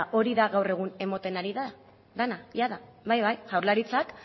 hori da gaur egun ematen ari dena jada bai bai jaurlaritzak